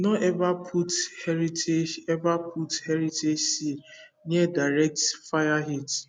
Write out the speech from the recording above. no ever put heritage ever put heritage seed near direct fire heat